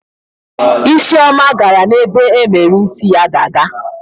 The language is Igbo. Isioma gara n'ebe emere isi ya dada.